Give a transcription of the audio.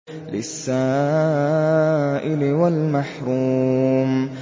لِّلسَّائِلِ وَالْمَحْرُومِ